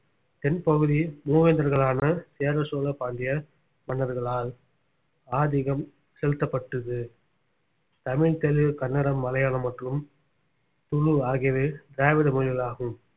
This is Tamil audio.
தென்பகுதி மூவேந்தர்களான சேர சோழ பாண்டிய மன்னர்களால் ஆதிக்கம் செலுத்தப்பட்டது தமிழ் தெலுங்கு கன்னடம் மலையாளம் மற்றும் துளு ஆகியவை திராவிட மொழிகளாகும்